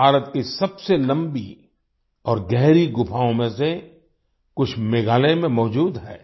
भारत की सबसे लंबी और गहरी गुफाओं में से कुछ मेघालय में मौजूद हैं